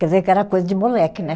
Quer dizer que era coisa de moleque, né?